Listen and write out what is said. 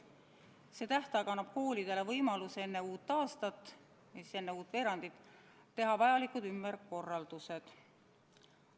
See tähtaeg annab koolidele võimaluse enne uut aastat ehk enne uut veerandit teha vajalikud ümberkorraldused.